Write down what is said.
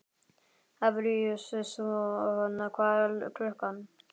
Fabrisíus, hvað er klukkan?